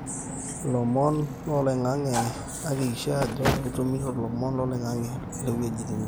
lomon loloingange akikisha ajo itumito lomon lo loingange lewueji nitii